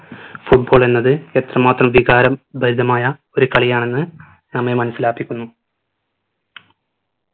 football എന്നത് എത്രമാത്രം വികാരം ഭരിതമായ ഒരു കാലിയാണെന്ന് നമ്മെ മനസിലാപ്പിക്കുന്നു